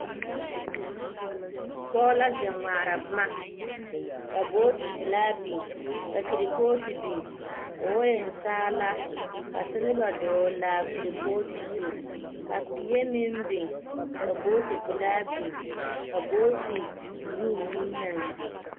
Pɔɔ la zeŋ ŋmaara boma, ka booti pelaa biŋ, ka kerpootu biŋ. K'o eŋ saala, ka seleba dɔɔl'a a kerpootu zu. Ka peɛ meŋ biŋ, ka booti pelaa biŋ. Ka booti buluu meŋ naŋ biŋ.